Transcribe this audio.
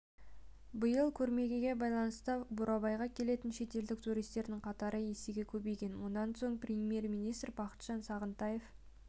биыл көрмесіне байланысты бурабайға келетін шетелдік туристердің қатары есеге көбейген мұнан соң премьер-министр бақытжан сағынтаев